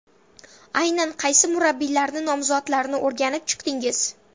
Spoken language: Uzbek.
Aynan qaysi murabbiylarni nomzodlarini o‘rganib chiqdingiz?